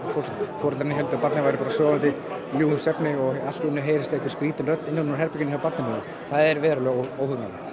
foreldrarnir héldu að barnið væri bara sofandi ljúfum svefni og allt í einu heyrist einhver skrýtin rödd innan úr barnaherberginu það er verulega